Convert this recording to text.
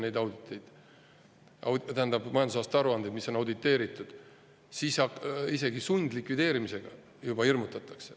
Kui sa õigeks ajaks ei esita majandusaasta aruandeid, mis on auditeeritud, siis hirmutatakse isegi sundlikvideerimisega.